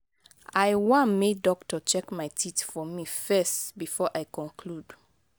i wan make doctor check my teeth for me first before i conclude.